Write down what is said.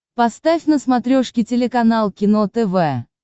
поставь на смотрешке телеканал кино тв